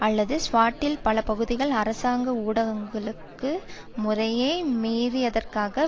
அல்லது ஸ்வாட்டில் பல பகுதிகளில் அரசாங்க ஊரடங்கு முறையை மீறியதற்காக